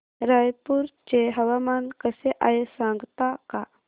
रायपूर चे हवामान कसे आहे सांगता का